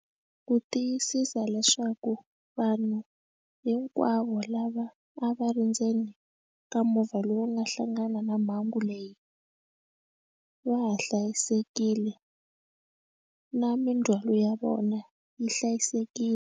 Ku tiyisisa leswaku vanhu hinkwavo lava a va ri ndzeni ka movha lowu nga hlangana na mhangu leyi va ha hlayisekile na mindzwalo ya vona yi hlayisekile.